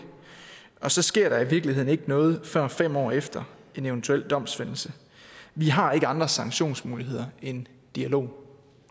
og så sker der i virkeligheden ikke noget før fem år efter en eventuel domfældelse vi har ikke andre sanktionsmuligheder end dialog